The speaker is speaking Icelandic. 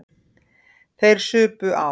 Þeir supu á.